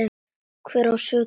Hver á sökina?